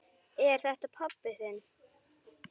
Er þetta pabbi þinn?